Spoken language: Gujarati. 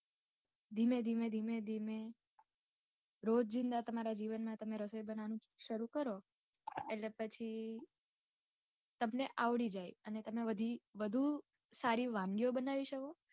ધીમે ધીમે ધીમે ધીમે. રોજ ના તમારા જીવન ના તમે રસોઈ બનાવાનું શરૂ કરો એટલે પછી તમને આવડી જાય અને તમે બધી વધુ સારી વાનગીઓ બનાવી શકો.